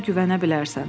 Mənə güvənə bilərsən.